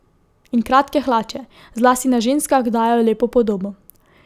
In kratke hlače, zlasti na ženskah, dajejo lepo podobo.